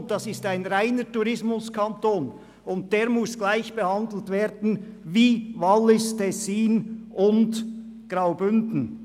Und das ist ein reiner Tourismuskanton, der gleichbehandelt werden muss wie Wallis, Tessin und Graubünden.